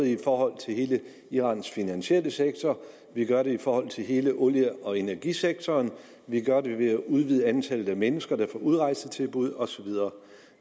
i forhold til hele irans finansielle sektor vi gør det i forhold til hele olie og energisektoren og vi gør det ved at udvide antallet af mennesker der får udrejsetilbud og så videre